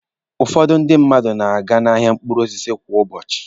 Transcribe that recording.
Ụfọdụ ndị mmadu na-aga n'ahịa mkpụrụ osisi kwa ụbọchị.